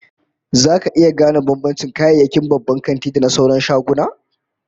Zaka iya gane bambancin kayayyakin babban kanti da na sauran shaguna?